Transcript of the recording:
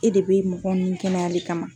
E de bɛ mɔgɔ nunnu kɛnɛyali kama.